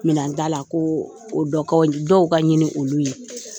Minɛnta la ko o dɔw ka ɲini olu ye